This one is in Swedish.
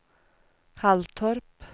Halltorp